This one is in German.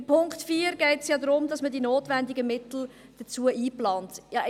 Beim Punkt 4 geht es darum, die dafür notwendigen Mittel einzuplanen.